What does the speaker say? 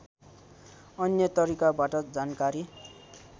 अन्य तरिकाबाट जानकारी